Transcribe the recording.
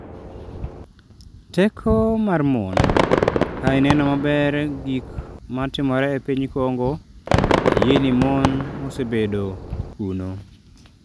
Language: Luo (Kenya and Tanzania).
"Teko mar mon ""Ka ineno maber gik ma timore e piny Congo, ayie ni mon osebedo kuno."